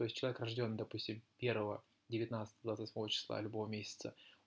то есть человек рождён допустим первого девятнадцатого двадцать восьмого числа любого месяца